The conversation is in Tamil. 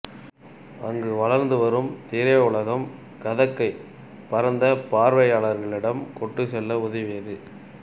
அங்கு வளர்ந்து வரும் திரையுலகம் கதக்கை பரந்த பார்வையாளர்களிடம் கொண்டு செல்ல உதவியது